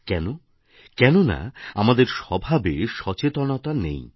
কেন কেননা আমাদের স্বভাবে সচেতনতা নেই